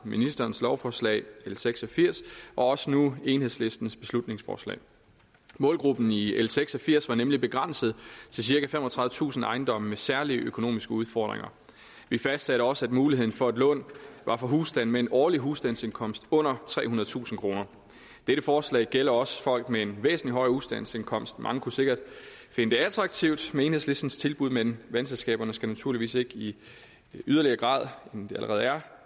ministerens lovforslag l seks og firs og også nu enhedslistens beslutningsforslag målgruppen i l seks og firs var nemlig begrænset til cirka femogtredivetusind ejendomme med særlige økonomiske udfordringer vi fastsatte også at muligheden for et lån var for husstande med en årlig husstandsindkomst under trehundredetusind kroner dette forslag gælder også folk med en væsentlig højere husstandsindkomst mange kunne sikkert finde det attraktivt med enhedslisten tilbud men vandselskaberne skal naturligvis ikke i yderligere grad end det allerede er